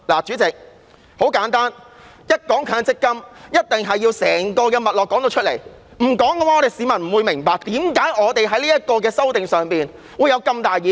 主席，很簡單，一談到強積金，一定要說出整個脈絡，因為不說出來，市民不會明白為何我們對《條例草案》會有這麼大的意見。